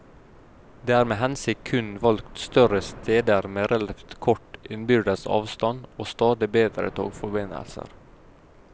Det er med hensikt kun valgt større steder med relativt kort innbyrdes avstand, og stadig bedre togforbindelser.